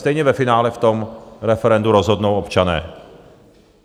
Stejně ve finále v tom referendu rozhodnou občané.